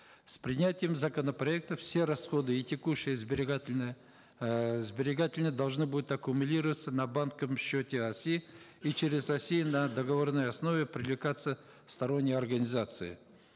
с принятием законопроекта все расходы и текущие и сберегательные эээ сберегательные должны будут аккумулироваться на счете оси и через оси на договорной основе привлекаться сторонние организации